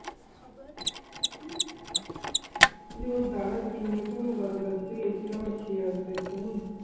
ওরে বাবা কি নিয়ে কোনো আমার খেয়াল নেই।